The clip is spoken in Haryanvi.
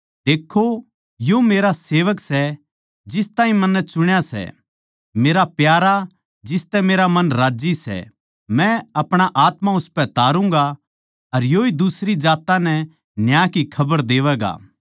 देक्खो यो मेरा सेवक सै जिस ताहीं मन्नै चुण्या सै मेरा प्यारा जिसतै मेरा मन राज्जी सै मै अपणा आत्मा उसपै तारुगाँ अर योए दुसरी जात्तां नै न्याय की खबर देवैगा